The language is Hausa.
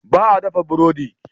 Ba a dafa burodi.